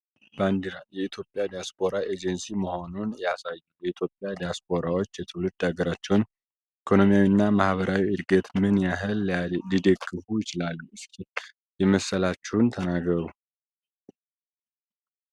ባንዲራ የኢትዮጵያ ዲያስፖራ ኤጀንሲ መሆኑን ያሳያል። የኢትዮጵያ ዲያስፖራዎች የትውልድ አገራቸውን ኢኮኖሚያዊ እና ማህበራዊ ዕድገት ምን ያህል ሊደግፉ ይችላሉ እስኪ የመሰላችሁን ተናገሩ?